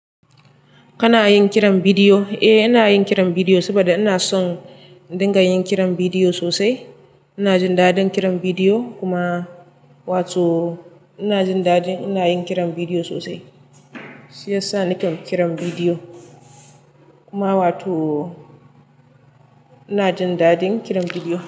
Kana yin kiran bidiyo? Eh, ina yin kiran bidiyo saboda ina son in dinga yin kiran bidiyo sosai. Ina jin daɗin kiran bidiyo kuma wato ina jin daɗi iin ina yin kiran bidiyo sosai. Shiya sani kan kiran bidiyo kuma wato ina jin daɗin kiran bidiyo.